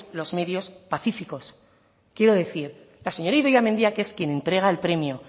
los medios pacíficos quiero decir la señora idoia mendia que es quien entrega el premio